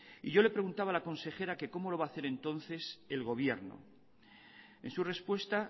y yo le preguntaba a la consejera que cómo lo va hacer entonces el gobierno en su respuesta